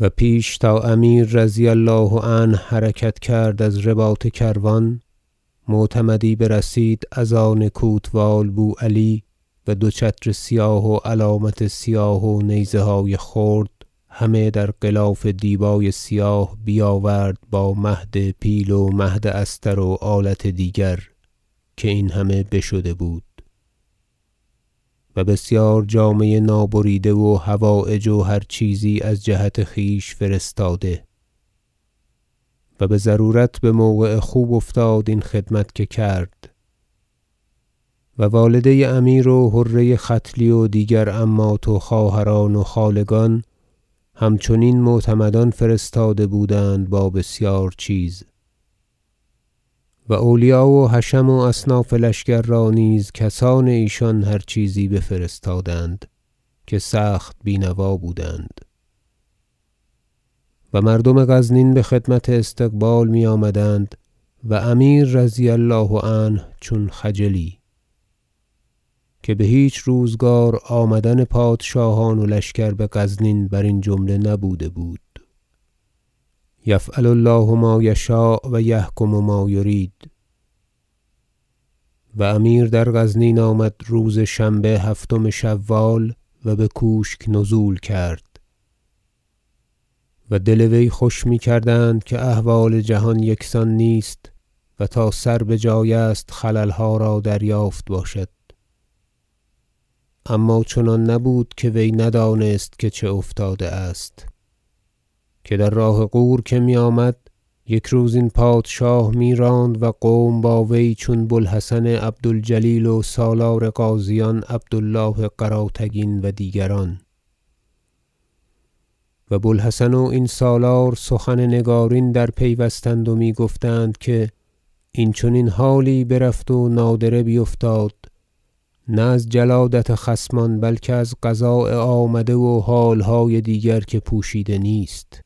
و پیش تا امیر رضی الله عنه حرکت کرد از رباط کروان معتمدی برسید از آن کوتوال بو علی و دو چتر سیاه و علامت سیاه و نیزه های خرد همه در غلاف دیبای سیاه بیاورد با مهد پیل و مهد استر و آلت دیگر که این همه بشده بود و بسیار جامه نابریده و حوایج و هر چیزی از جهت خویش فرستاده و بضرورت بموقع خوب افتاد این خدمت که کرد و والده امیر و حره ختلی و دیگر عمات و خواهران و خاله گان همچنین معتمدان فرستاده بودند با بسیار چیز و اولیا و حشم و اصناف لشکر را نیز کسان ایشان هر چیزی بفرستادند که سخت بینوا بودند و مردم غزنین بخدمت استقبال میآمدند و امیر رضی الله عنه چون خجلی که بهیچ روزگار آمدن پادشاهان و لشکر بغزنین برین جمله نبوده بود یفعل الله- ما یشاء و یحکم ما یرید و امیر در غزنین آمد روز شنبه هفتم شوال و بکوشک نزول کرد و دل وی خوش میکردند که احوال جهان یکسان نیست و تا سر بجای است خللها را دریافت باشد اما چنان نبود که وی ندانست که چه افتاده است که در راه غور که میآمد یک روز این پادشاه میراند و قوم با وی چون بو الحسن عبد الجلیل و سالار غازیان عبد الله قراتگین و دیگران و بو الحسن و این سالار سخن نگارین درپیوستند و می گفتند که این چنین حالی برفت و نادره بیفتاد نه از جلادت خصمان بلکه از قضاء آمده و حالهای دیگر که پوشیده نیست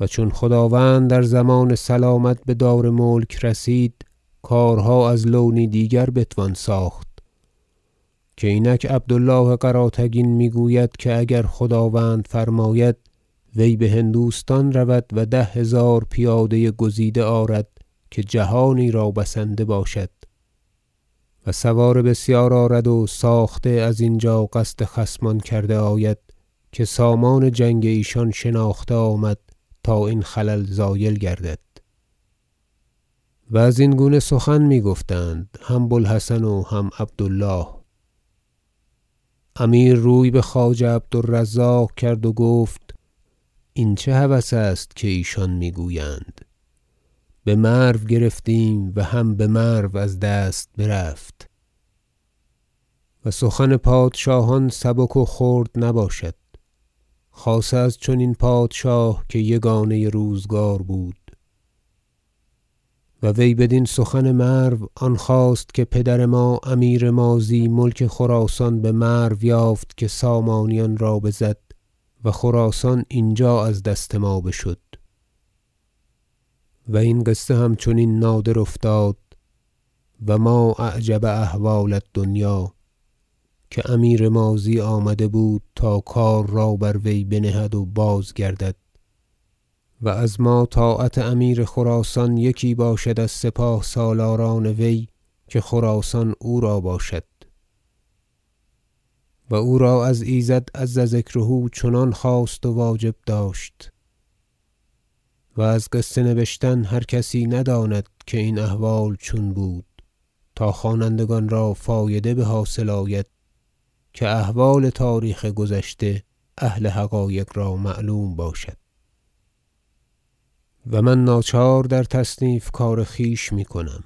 و چون خداوند در ضمان سلامت بدار ملک رسید کارها از لونی دیگر بتوان ساخت که اینک عبد الله قراتگین میگوید که اگر خداوند فرماید وی بهندوستان رود و ده هزار پیاده گزیده آرد که جهانی را بسنده باشد و سوار بسیار آرد و ساخته ازینجا قصد خصمان کرده آید که سامان جنگ ایشان شناخته آمد تا این خلل زایل گردد و ازین گونه سخن میگفتند هم بو الحسن و هم عبد الله امیر روی بخواجه عبد الرزاق کرد و گفت این چه هوس است که ایشان میگویند بمرو گرفتیم و هم بمرو از دست برفت و سخن پادشاهان سبک و خرد نباشد خاصه از این چنین پادشاه که یگانه روزگار بود و وی بدین سخن مرو آن خواست که پدر ما امیر ماضی ملک خراسان بمرو یافت که سامانیان را بزد و خراسان اینجا از دست ما بشد و این قصه هم چنین نادر افتاد و ما اعجب احوال الدنیا که امیر ماضی آمده بود تا کار را بر وی بنهد و بازگردد و از ما طاعت امیر خراسان یکی باشد از سپاه سالاران وی که خراسان او را باشد و او را از ایزد عز ذکره چنان خواست و واجب داشت و از قصه نبشتن هر کسی نداند که این احوال چون بود تا خوانندگان را فایده بحاصل آید که احوال تاریخ گذشته اهل حقایق را معلوم باشد و من ناچار در تصنیف کار خویش میکنم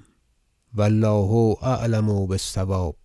و الله اعلم بالصواب